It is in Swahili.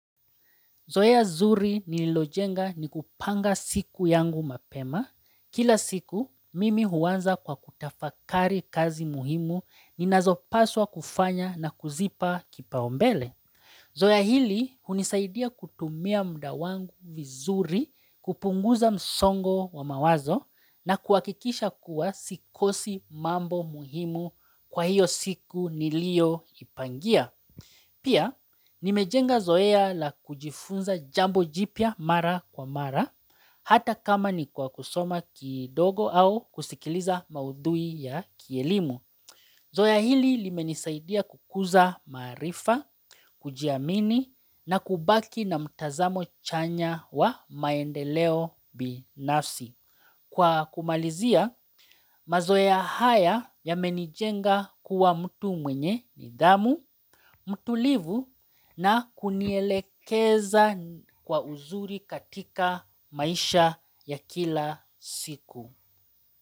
Zoea zuri nililojenga ni kupanga siku yangu mapema. Kila siku, mimi huanza kwa kutafakari kazi muhimu ninazopaswa kufanya na kuzipa kipaumbele. Zoea hili hunisaidia kutumia mda wangu vizuri kupunguza msongo wa mawazo na kuhakikisha kuwa sikosi mambo muhimu kwa hiyo siku nilio ipangia. Pia, nimejenga zoea la kujifunza jambo jipya mara kwa mara, hata kama ni kwa kusoma kidogo au kusikiliza maudhui ya kielimu. Zoea hili limenisaidia kukuza maarifa, kujiamini na kubaki na mtazamo chanya wa maendeleo binafsi. Kwa kumalizia mazoea haya yamenijenga kuwa mtu mwenye nidhamu, mtulivu na kunielekeza kwa uzuri katika maisha ya kila siku.